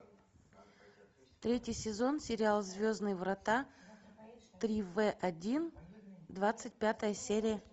третий сезон сериал звездные врата три вэ один двадцать пятая серия